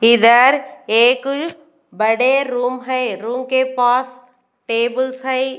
इधर एक बड़े रूम है रूम के पास टेबल्स है।